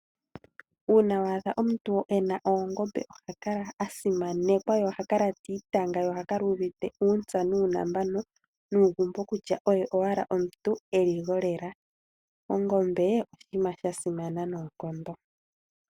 Uuna wa adha omuntu ena Oongombe oha kala a simanekwa, ye oha kala tiitanga ye oha kala uuvite uuntsa nuunambano nuugumbo kutya oye owala omuntu eli gwolela. Ongombe oshinima sha simana noonkondo.